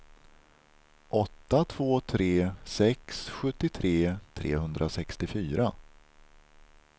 åtta två tre sex sjuttiotre trehundrasextiofyra